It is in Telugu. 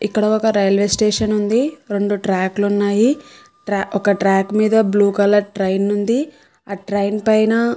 ఇక్కడ ఒక రైల్వే స్టేషన్ ఉంది. రెండు ట్రాక్లు ఉన్నాయి. ఒక ట్రాక్ మీద బ్లూ కలర్ ట్రైన్ ఉంది. ఆ ట్రైన్ పైన --